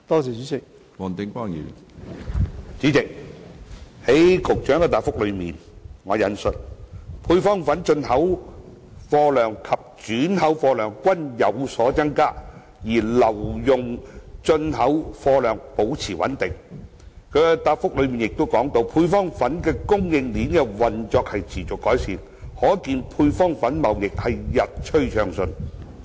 主席，在局長的主體答覆中提到，"配方粉進口貨量及轉口貨量均有所增加，而留用進口貨量保持穩定"，另外亦提到"配方粉供應鏈的運作亦持續改善，可見配方粉貿易日趨暢順"。